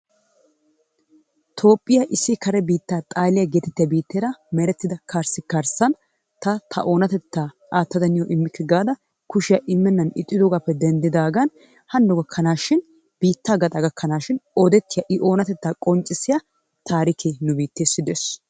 Toophphiya issi kare biittaa xaaliya geetettettiya biitteera merettida karssi karssan ta ta oonatettaa aatadda niyo immiikke gaada kushiya immenan ixxidoogappe denddidaagan hano gakkanaashin biittaa gaxaa gakkanaashin odettiya i oonatettaa qonccissiya taarikke nu biitteessi de'ees.